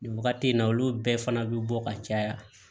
Nin wagati in na olu bɛɛ fana bi bɔ ka caya